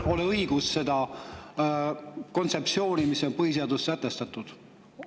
… ei ole õigus seda kontseptsiooni, mis on põhiseaduses sätestatud.